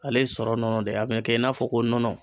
Ale ye sɔrɔ nɔnɔ de ye a bɛ kɛ i n'a fɔ ko nɔnɔ.